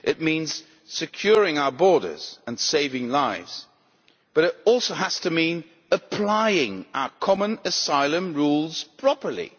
It means securing our borders and saving lives, but it also has to mean applying our common asylum rules properly.